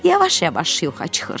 Yavaş-yavaş yuxa çıxır.